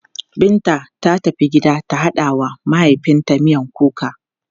Binta ta tafi gida ta haɗa wa mahaifinta miyan kuka.